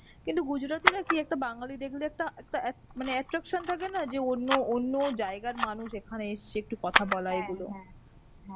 কিন্তু gujrati রা কি, একটা বাঙালি দেখলে একটা একটা এক~ মানে attraction থাকে না যে অন্য অন্য জায়গার মানুষ এখানে এসেছে. একটু কথা বলা এগুলো.